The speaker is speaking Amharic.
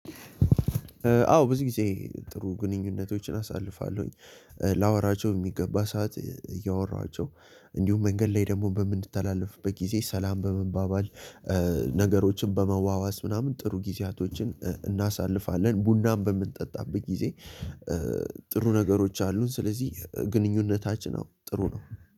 አዎ ብዙ ጊዜ ጥሩ ግንኙነቶችን አሳልፋለሁኝ ላወራቸው የሚገባ ሰዓት እያወራኋቸው። እንዲሁም መንገድ ላይ ደግሞ በምንተላለፍበት ጊዜ ሰላም በመባባል። ነገሮችን በመዋዋስ ምናምን ጥሩ ጊዜያቶችን እናሳልፋለን ቡናም በምንጠጣበት ጊዜ። ጥሩ ነገሮች አሉን ስለዚህ ግንኙነታችን አዎ ጥሩ ነው።